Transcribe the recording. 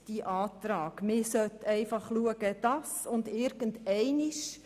Dieser zufolge müsse einfach geschaut werden, dass und wenn, dann irgendeinmal...